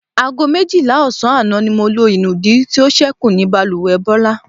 Aago méjìlá ò̩sán àná ni mo lo ìnùdí tí ó s̩é̩kù ní balùwè̩ Bó̩lá.